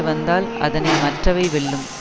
வந்தால் அதனை மற்றவை வெல்லும்